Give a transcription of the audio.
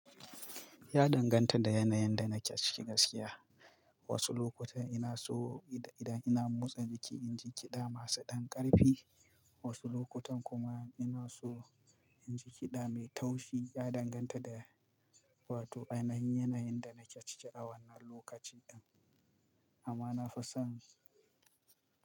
Ya danganta da yanayin da nake ciki gaskiya. Wasu lokutan ina so idan ina motsa jiki in ji kiɗa masu ɗan ƙarfi, wasu lokutan kuma ina so in ji kiɗa mai taushi. Ya danganta da, wato ainahin yanayin da nake ciki a wannan lokacin. Amma na fi son.